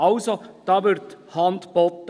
Also: Da wird Hand geboten.